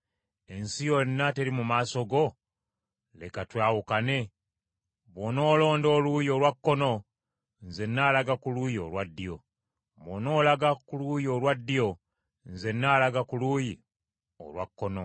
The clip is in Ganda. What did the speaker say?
Ensi yonna teri mu maaso go? Leka twawukane. Bwonoolonda oluuyi olwa kkono, nze n’alaga ku luuyi olwa ddyo, bw’onoolaga ku luuyi olwa ddyo nze n’alaga ku luuyi olwa kkono.”